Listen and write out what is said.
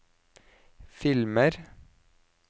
filmer